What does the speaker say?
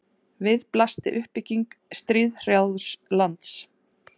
við blasti uppbygging stríðshrjáðs lands